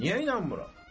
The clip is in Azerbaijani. Niyə inanmıram?